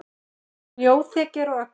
Snjóþekja er á Öxi